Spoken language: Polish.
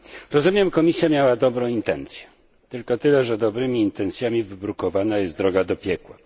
Rozumiem Komisja miała dobre intencje, tylko tyle, że dobrymi intencjami wybrukowana jest droga do piekła.